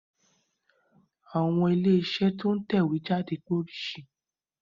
Àwọn ilé iṣẹ́ to ń tẹ ìwé jáde pé oríṣì